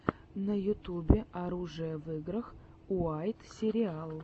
на ютубе оружие в играх уайт сериал